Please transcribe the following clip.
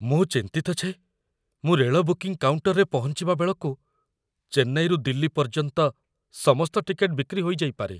ମୁଁ ଚିନ୍ତିତ ଯେ ମୁଁ ରେଳ ବୁକିଂ କାଉଣ୍ଟର୍‌ରେ ପହଞ୍ଚିବା ବେଳକୁ ଚେନ୍ନାଇରୁ ଦିଲ୍ଲୀ ପର୍ଯ୍ୟନ୍ତ ସମସ୍ତ ଟିକେଟ୍‌ ବିକ୍ରି ହୋଇଯାଇପାରେ।